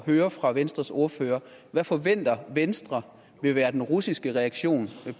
høre fra venstres ordfører hvad forventer venstre vil være den russiske reaktion